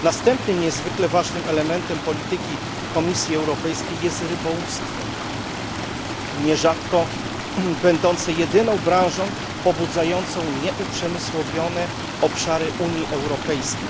Następnym niezwykle ważnym elementem polityki Komisji Europejskiej jest rybołówstwo, nierzadko będące jedyną branżą pobudzającą nieuprzemysłowione obszary Unii Europejskiej.